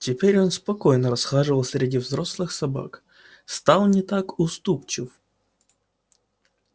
теперь он спокойно расхаживал среди взрослых собак стал не так уступчив